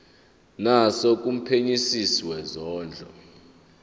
naso kumphenyisisi wezondlo